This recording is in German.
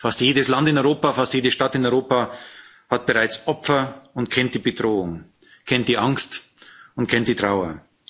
Fast jedes Land in Europa, fast jede Stadt in Europa hat bereits Opfer und kennt die Bedrohung, kennt die Angst und kennt die Trauer.